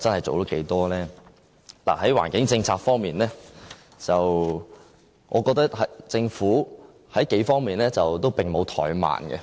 在環境政策方面，我覺得政府在幾方面都沒有怠慢。